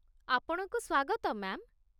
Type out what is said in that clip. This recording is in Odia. ଆପଣଙ୍କୁ ସ୍ୱାଗତ, ମ୍ୟା'ମ୍।